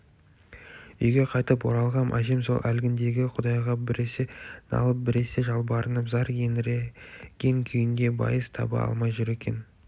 үйге қайтып оралғам әжем сол әлгіндегі құдайға біресе налып біресе жалбарынып зар еңіреген күйінде байыз таба алмай жүр екен